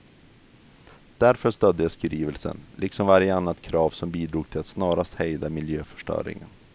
Därför stödde jag skrivelsen, liksom varje annat krav som bidrog till att snarast hejda miljöförstöringen.